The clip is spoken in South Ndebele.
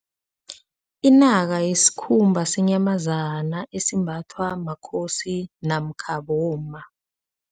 Inaka yisikhumba senyamazana esimbathwa makhosi namkha bomma.